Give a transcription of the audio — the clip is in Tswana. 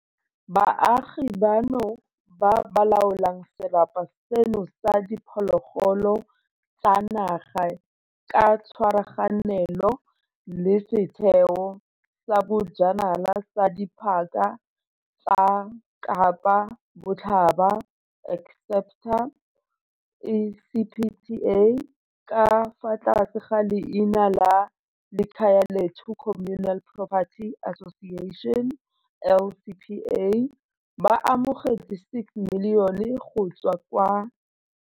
Baagi bano, ba ba laolang serapa seno sa diphologolo tsa naga ka tshwaraganelo le Setheo sa Bojanala sa Diphaka tsa Kapa Botlhaba, ECPTA, ka fa tlase ga leina la Likhayalethu Communal Porperty Association, LCPA, ba amogetse R6 milione go tswa.